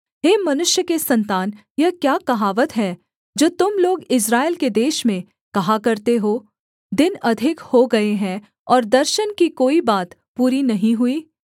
हे मनुष्य के सन्तान यह क्या कहावत है जो तुम लोग इस्राएल के देश में कहा करते हो दिन अधिक हो गए हैं और दर्शन की कोई बात पूरी नहीं हुई